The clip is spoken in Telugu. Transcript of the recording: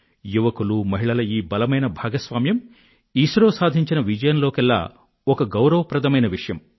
యువకులు మహిళల ఈ బలమైన భాగస్వామ్యం ఇస్రో సాధించిన విజయంలోకెల్లా ఒక గౌరవప్రదమైన విషయం